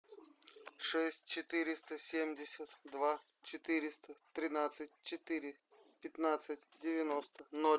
шесть четыреста семьдесят два четыреста тринадцать четыре пятнадцать девяносто ноль